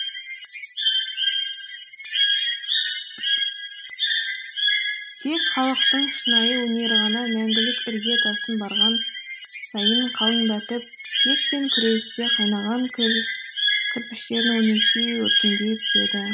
тек халықтың шынайы өнері ғана мәңгілік ірге тасын барған сайын қалыңдатып кек пен күресте қайнаған кірпіштерін өрнектей өркендей түседі